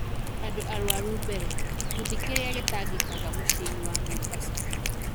Andũ Arũaru Mbere: Gĩkundi kĩrĩa Gĩtangĩkaga mũciĩ-inĩ wa Mombasa